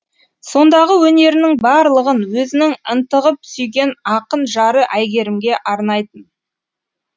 сондағы өнерінің барлығын өзінің ынтығып сүйген ақын жары әйгерімге арнайтын